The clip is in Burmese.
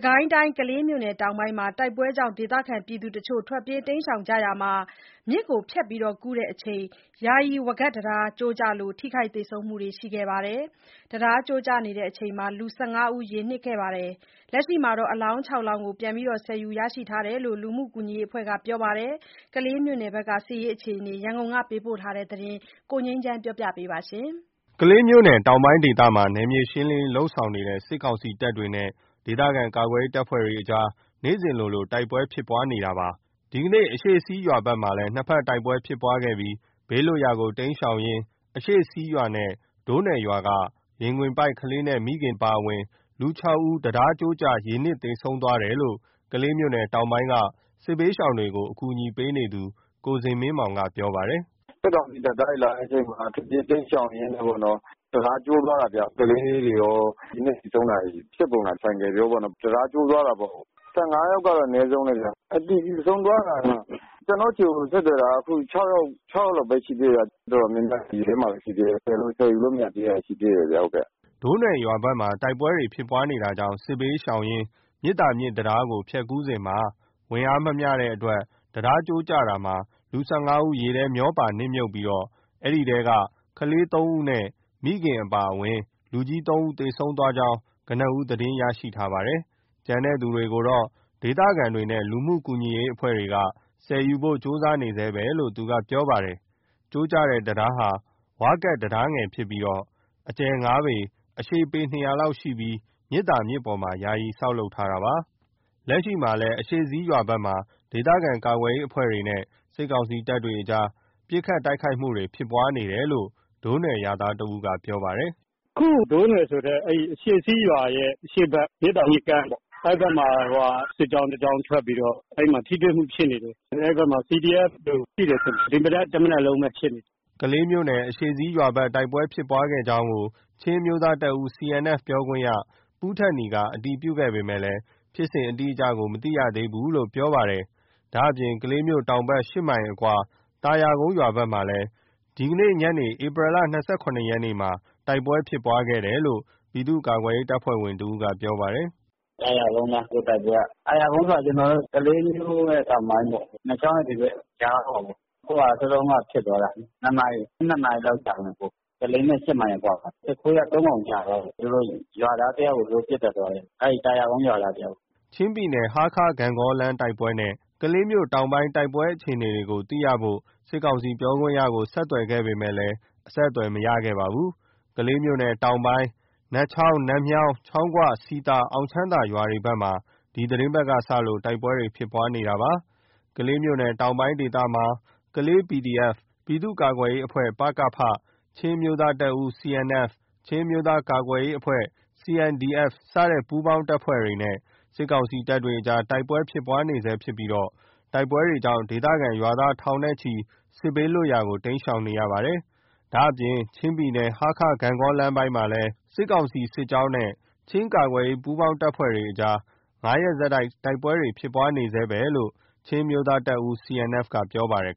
ကိုင်းတိုင်း ကလေးမြို့နယ်တောင်ပိုင်းမှာ တိုက်ပွဲကြောင့် ဒေသခံတချို့ထွက်ပြေးကြရာမှာ မြစ်ကူးစဉ် ယာယီဝါးကပ်တံတားကျိုးကျလို့ ထိခိုက်သေဆုံးမှုတွေရှိခဲ့ပါတယ်။ ရေနစ်သွားတဲ့ ၁၅ ဦးမှာ လက်ရှိ အလောင်း လောင်း ဆယ်ယူရရှိထားတယ်လို့ လူမှုကူညီရေးအဖွဲ့ကပြောပါတယ်။ ကလေးမြို့နယ်ဘက် စစ်ရေး အခြေအနေကိုတော့ ရန်ကုန်ကပေးပို့ထားတာကို ကိုငြိမ်းချမ်းက တင်ပြပေးထားပါတယ်။ ကလေးမြို့နယ်တောင်ပိုင်းဒေသမှာ နယ်မြေရှင်းလင်းရေးလုပ်ဆောင်နေတဲ့ စစ်ကောင်စီတပ်နဲ့ ဒေသခံကာကွယ်ရေး အဖွဲ့တို့ကြား နေ့စဉ်လိုလိုတိုက်ပွဲဖြစ်ပွားနေတာပါ။ ဒီကနေ့ အရှေ့စည်းရွာဘက်မှာ နှစ်ဘက်တိုက်ပွဲဖြစ်စဉ် ဘေးလွတ်ရာကို တိမ်းရှောင်ကြတဲ့ အရှေ့စည်းရွာ နဲ့ ဒိုးနွယ်ရွာက ရင်ခွင်ပိုက်ကလေးနဲ့မိခင်အပါအဝင် လူ ဦး တံတားကျိုးကျလို့ ရေနစ်သေဆုံးသွားတယ်လို့ ကလေးမြို့ နယ် တောင်ပိုင်းဘက်က စစ်ရှောင်အကူအညီပေးသူ ကိုဇင်မင်းမောင်က ပြောပါတယ်။ “စစ်ကောင်စီတပ်သားတွေလာတဲ့အချိန်မှာ ထွက်ပြေးတိမ်းရှောင်ရင်းနဲ့ပေါ့နော်။ တံတားကျိုးသွားတာဗျ။ ကလေးတွေရော ရေနစ်သေဆုံးတာဖြစ်ပေါ်တယ်။ ဆိုင်ကယ်ရောပေါ့နော်။ တံတားကျိုးသွားတာ။ ယောက်ယောက်ကတော့ အနည်းဆုံးပဲဗျ။ သေဆုံးအတည်ပြုသွားတာ ကျနော့်ဆီကိုဆက်သွယ်လာတာက ယောက် လောက်ပဲ ရှိသေး တယ်။ တော်တော်များများရေထဲမှာပဲ ရှိသေးတယ်။ အကုန်လုံးဆယ်ယူလို့မရတာ ရှိသေးတယ်။” ဒိုးနွယ်ရွာဘက်မှာ တိုက်ပွဲဖြစ်ပွါးနေတာကြောင့် စစ်ရှောင်ပြေးလွှားရင်း မြစ်သာမြစ်တံတားကိုဖြတ်ကူးစဉ် ဝန်နဲ့အားမမျှလို့ တံတားကျိုးကျတာမှာ လူ ဦး ရေထဲမျောပါနစ်မြုပ်ပြီး ၎င်းအနက်က ကလေး ဦးနဲ့ မိခင်အပါဝင် လူကြီး ဦး သေဆုံးသွားကြောင်း ကနဦးသတင်းရရှိထားတာပါ။ ကျန်ရှိတဲ့သူတွေကိုတော့ ဒေသခံတွေနဲ့လူမှုကူညီရေးအဖွဲ့တွေက ဆယ်ယူဖို့ကြိုးစားနေဆဲလို့သူကပြောပါတယ်။ ကျိုးကျတဲ့တံတားဟာ ဝါးကပ်တံတားငယ်ဖြစ်ပြီး အကျယ်၅ပေ အရှည်ပေ လောက်ရှိပြီးတော့ မြစ်သာမြစ်ပေါ် ယာယီဆောက်လုပ်ထားတာပါ။ လက်ရှိအရှေ့စည်းရွာဘက်မှာ ဒေသခံကာကွယ်ရေးအဖွဲ့နဲ့ စစ်ကောင်စီတပ်အကြား ပစ်ခတ်တိုက်ခိုက်မှုဖြစ်ပွါးနေတယ်လို့ ဒိုးနွယ်ရွာသားတဦးကပြောပါတယ်။ “အခု ဒိုးနွယ်ဆိုတဲ့ အရှေ့စည်းရွာရဲ့ အရှေ့ဘက် မြစ်သာမြစ်ကမ်းပေါ့။ အဲဒီဘက်မှာ စစ်ကြောင်းတကြောင်း ထွက်ပြီး တော့ အဲဒီမှာထိတွေ့မှုဖြစ်နေတယ်။ အဲဒီဘက်မှာ CDF တွေရှိတယ်ထင်တယ်။ ဒီမနက် တမနက်လုံးပဲ ဖြစ်နေတယ်။” ကလေးမြို့နယ် အရှေ့စည်းရွာဘက်တိုက်ပွဲဖြစ်ပွါးခဲ့ကြောင်း ချင်းအမျိုးသားတပ်ဦး CNF ပြောခွင့်ရ ပူးထက်နီက အတည်ပြုခဲ့ပေမယ့် ဖြစ်စဉ် အတိအကျမသိသေးဘူးလို့ပြောပါတယ်။ ဒါ့အပြင် ကလေးမြို့တောင်ဘက် မိုင်အကွာ သာယာကုန်းရွာဘက်မှာ ဒီညနေ့ဧပြီလ ရက်ညနေပိုင်းမှာ တိုက်ပွဲဖြစ်ပွါးခဲ့တယ်လို့ ပြည်သူ့ကာကွယ်ရေးအဖွဲ့ဝင်တဦးကပြောပါတယ်။ “သာယာကုန်းအနား အခုတိုက်ပွဲက။ သာယာကုန်းဆိုတာ ကလေးမြို့ရဲ့တောင်ပိုင်းပေါ့။ နတ်ချောင်းနဲ့ ဒီဘက်အကြားပေါ့။ အခုကစောစောတုန်းကဖြစ်သွားတာ။ နှစ်နာရီလောက်ကြာတယ်။ ကလေးနဲ့ မိုင်အကွာမှာ။ စစ်ခွေးက ၃ ကောင် ကျသွားတယ်။ သူတို့ရွာသားတယောက်ကိုလည်း ပစ်သတ်သွားတယ်။ အဲဒီသာယာကုန်းရွာသားတယောက်။” ချင်းပြည်နယ် ဟားခါး-ဂန့်ဂေါလမ်းတိုက်ပွဲနဲ့ ကလေးမြို့တောင်ပိုင်းတိုက်ပွဲအခြေအနေကို သိရှိဖို့ စစ်ကောင်စီပြောခွင့်ရကို ဆက်သွယ်ခဲ့ပေမဲ့မရခဲ့ပါဘူး။ ကလေးမြို့နယ်တောင်ပိုင်း နတ်ချောင်း၊ နတ်မြောင်း၊ ချောင်းခွ၊ စည်သာ၊ အောင်ချမ်းသာရွာဘက်မှာ ဒီသီတင်းပတ်က စလို့ တိုက်ပွဲဖြစ်ပွါးနေခဲ့တာပါ။ ကလေးမြို့နယ်တောင်ပိုင်းဒေသမှာ ကလေး PDF၊ ပြည်သူ့ကာကွယ်ရေးအဖွဲ့ ၊ ချင်းအမျိုးသားတပ်ဦး CNF၊ ချင်းအမျိုးသားကာကွယ်ရေးအဖွဲ့ CNDF စတဲ့ ပူးပေါင်းအဖွဲ့တွေနဲ့ စစ်ကောင်စီတပ်ကြား တိုက်ပွဲဖြစ်ပွါးနေဆဲဖြစ်ပြီး တိုက်ပွဲကြောင့် ဒေသခံရွာသားထောင်နဲ့ချီ စစ်ဘေးလွတ်ရာကိုတိမ်းရှောင်ထွက်ပြေးနေရပါတယ်။ ဒါ့အပြင်ချင်းပြည်နယ် ဟားခါး-ဂန့်ဂေါကားလမ်းပိုင်းမှာလည်း စစ်ကောင်စီတပ်စစ်ကြောင်းနဲ့ ချင်းကာကွယ်ရေးပူးပေါင်း အဖွဲ့တွေ ရက်ဆက် တိုက်ပွဲဖြစ်ပွါးနေဆဲလို့ ချင်းအမျိုးသားတပ်ဦး CNF က ပြောပါတယ်